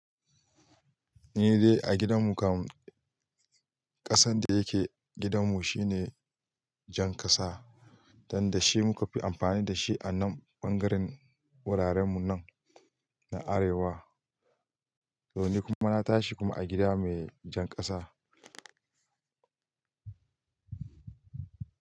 Ni dai a gidan mu kam, ƙasan da yake gidan mu shine jan ƙasa, don da shi muka fi amfani da shi a nan ɓangaren wuraren mu nan na arewa. To ni kuma na tashi kuma a gida mai jan ƙasa.